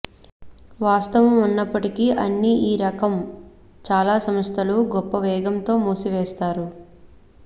వాస్తవం ఉన్నప్పటికీ అన్ని ఈ రకం చాలా సంస్థలు గొప్ప వేగంతో మూసివేస్తారు